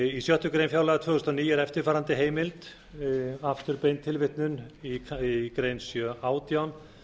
í sjöttu grein fjárlaga tvö þúsund og níu er eftirfarandi heimild í lið sjö átján